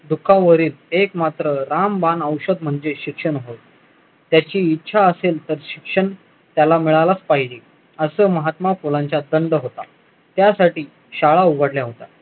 दुःखावरील एक मात्र रामबाण औषध म्हणजे शिक्षण होय त्याची इच्छा असेल तर शिक्षण त्याला मिळालेच पाहिजे असा महात्मा फुलांच्या संद होता त्यासाठी शाळा उघडल्या होत्या